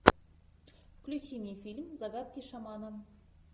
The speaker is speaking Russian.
включи мне фильм загадки шамана